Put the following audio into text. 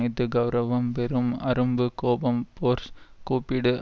இஃது கெளரவம் வெறும் அரும்பு கோபம் ஃபோர்ஸ் கூப்பிடு